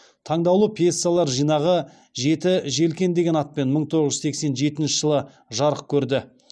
таңдаулы пьесалар жинағы жеті желкен деген атпен мың тоғыз жүз сексен жетінші жылы жарық көрді